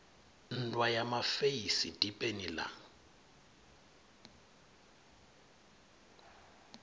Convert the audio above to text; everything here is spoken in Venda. nndwa ya mafeisi dipeni la